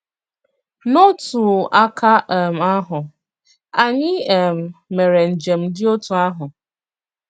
N'otu àkà um àhụ, ànyị̀ um mèré njem dị otú àhụ.